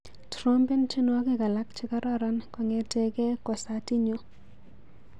Trompen tyenwogik alak chekororon kong'eteke kwosatinyu.